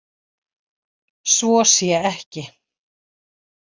Svo sé ekki